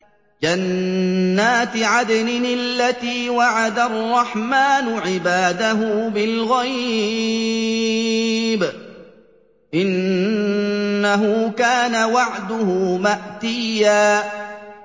جَنَّاتِ عَدْنٍ الَّتِي وَعَدَ الرَّحْمَٰنُ عِبَادَهُ بِالْغَيْبِ ۚ إِنَّهُ كَانَ وَعْدُهُ مَأْتِيًّا